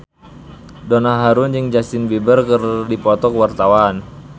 Donna Harun jeung Justin Beiber keur dipoto ku wartawan